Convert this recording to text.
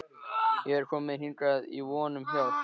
Ég er kominn hingað í von um hjálp.